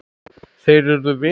Þeir urðu vinir.